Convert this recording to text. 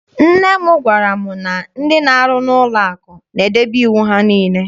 Nne m gwara m na ndị na-aru n'ụlọ akụ na-edebe iwu ha niile.